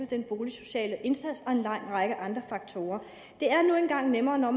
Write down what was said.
den boligsociale indsats og en lang række andre faktorer det er nu engang nemmere